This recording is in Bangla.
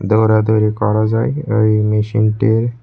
দৌড়াদৌড়ি করা যায় ওই মেশিনটেয়।